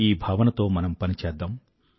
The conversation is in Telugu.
ఈ భావనతో మనం పనిచేద్దాం